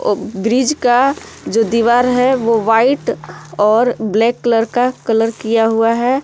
अ bridge का जो दीवार है वो व्हाइट और ब्लैक कलर का कलर किया हुआ है।